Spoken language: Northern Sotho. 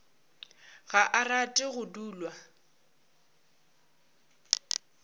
ga a rate go dulwa